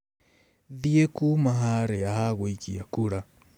Thiĩ kuuma harĩa ha gũikia kura.